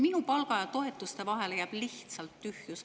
Minu palga ja toetuste vahele jääb lihtsalt tühjus.